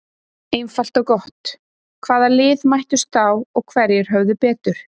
Einfalt og gott: Hvaða lið mættust þá og hverjir höfðu betur?